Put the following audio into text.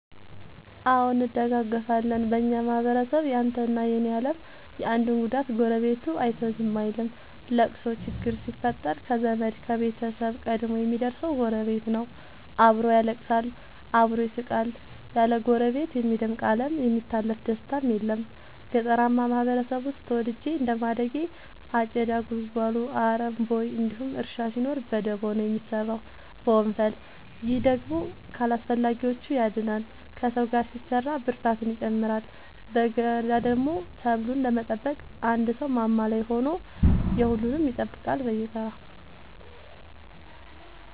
አዎ እንደጋገፋለን በኛ ማህበረሰብ ያንተ እና የኔ የለም የአንዱን ጉዳት ጎረቤቱ አይቶ ዝም አይልም። ለቅሶ ችግር ሲፈጠር ከዘመድ ከቤተሰብ ቀድሞ የሚደር ሰው ጎረቤት ነው። አብሮ ያለቅሳል አብሮ ይስቃል ያለ ጎረቤት የሚደምቅ አለም የሚታለፍ ደስታም የለም። ገጠርአማ ማህበረሰብ ውስጥ ተወልጄ እንደማደጌ አጨዳ ጉልጎሎ አረም ቦይ እንዲሁም እርሻ ሲኖር በደቦ ነው የሚሰራው በወንፈል። ይህ ደግሞ ከአላስፈላጊዎቺ ያድናል ከሰው ጋር ሲሰራ ብርታትን ይጨምራል። በገዳደሞ ሰብሉን ለመጠበቅ አንድ ሰው ማማ ላይ ሆኖ የሁሉም ይጠብቃል በየተራ።